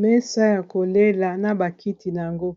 Mesa ya kolela na ba kiti na yango